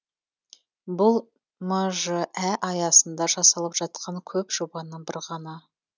бұл мжә аясында жасалып жатқан көп жобаның бірі ғана